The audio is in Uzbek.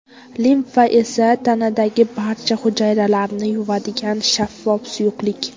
Limfa esa tanadagi barcha hujayralarni yuvadigan shaffof suyuqlik.